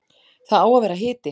Það á að vera hiti.